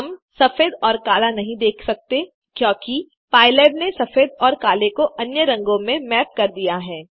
हम सफेद और काला नहीं देख सकते क्योंकि पाइलैब ने सफेद और काले को अन्य रंगों में मैप कर दिया है